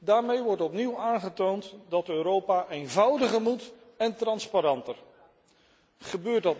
Daarmee wordt opnieuw aangetoond dat Europa eenvoudiger en transparanter moet.